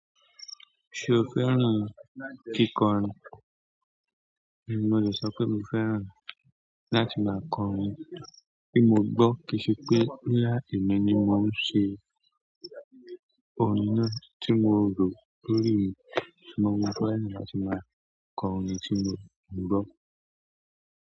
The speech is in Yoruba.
Ṣo fẹ́ràn kíkọrin? Mo lè sọ pé mo fẹ́ràn láti máa kọrin. Ti mo gbọ́ kì í ṣe pé boya emi ni mo ṣe orin náà tí mo rò lórí mi. Ṣùgbọ́n mo fẹ́ràn láti máa kọ orin tí mo ń gbọ́.